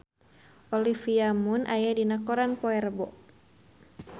Olivia Munn aya dina koran poe Rebo